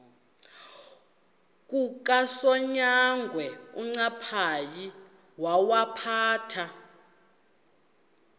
kukasonyangwe uncaphayi wawaphatha